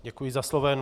Děkuji za slovo.